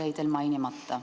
See jäi teil mainimata.